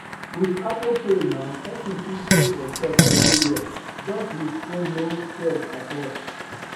with apple pay now person fit pay for shop everywhere just with phoneno stress at all